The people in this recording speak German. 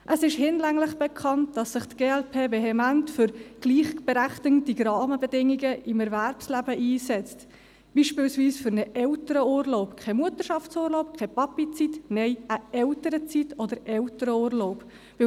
Es ist hinlänglich bekannt, dass sich die glp vehement für gleichberechtigende Rahmenbedingungen im Erwerbsleben einsetzt, beispielsweise für einen Elternurlaub – kein Mutterschaftsurlaub, keine «Papi-Zeit», sondern eine Eltern-Zeit oder einen Eltern-Urlaub.